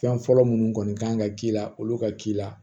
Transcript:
Fɛn fɔlɔ minnu kɔni kan ka k'i la olu ka k'i la